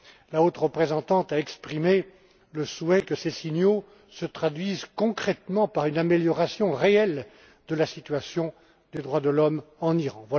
la haute représentante a exprimé le souhait que ces signaux se traduisent concrètement par une amélioration réelle de la situation des droits de l'homme en Iran.